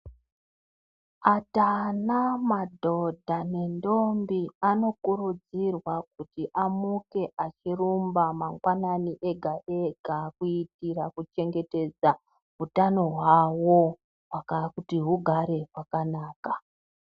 Atana madhodha nentombi anokurudzirwa kuti amuke achirumba mangwanani ega-ega kuitira kuchengetedza utano hwawo kuti hugare hwakanaka.